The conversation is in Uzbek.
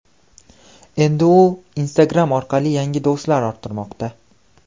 Endi u Instagram orqali yangi do‘stlar orttirmoqda .